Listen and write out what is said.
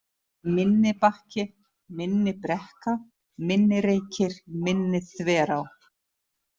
Minnibakki, Minnibrekka, Minnireykir, Minniþverá